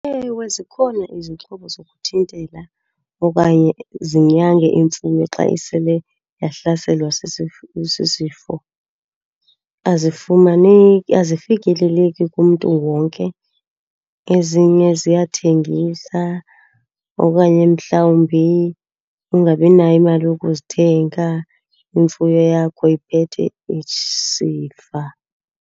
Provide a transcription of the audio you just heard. Ewe zikhona izixhobo zokuthintela okanye zinyange imfuyo xa isele yahlaselwa sisifo. Azifumaneki, azifikeleleki kumntu wonke. Ezinye ziyathengisa okanye mhlawumbi ungabinayo imali yokuzithenga, imfuyo yakho iphethe isifa.